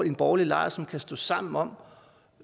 en borgerlige lejr som kan stå sammen om